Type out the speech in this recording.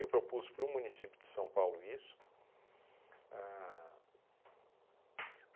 Eu propus para o município de São Paulo isso. Ahn